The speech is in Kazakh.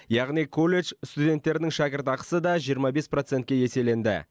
яғни колледж студенттерінің шәкіртақысы да жиырма бес процентке еселенді